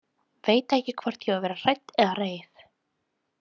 Veit ekki hvort ég á að vera hrædd eða reið.